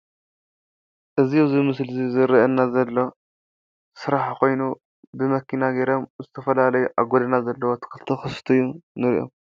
እዚ ኣብ ምስሊ ዝረአና ዘሎ ስራሕ ኮይኑ ብመኪና ጌሮም ዝተፈላለዩ አብ ጎደና ዘለዉ ተኽሊ እናስተዪ ንሪኦም ።